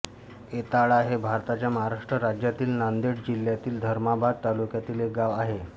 येताळा हे भारताच्या महाराष्ट्र राज्यातील नांदेड जिल्ह्यातील धर्माबाद तालुक्यातील एक गाव आहे